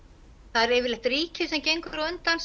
það er yfirleitt ríkið sem gengur á undan